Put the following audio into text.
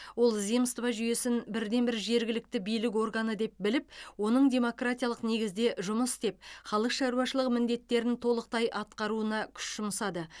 ол земство жүйесін бірден бір жергілікті билік органы деп біліп оның демократтық негізде жұмыс істеп халық шаруашылығы міндеттерін толықтай атқаруына күш жұмсады